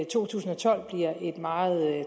to tusind og tolv bliver et meget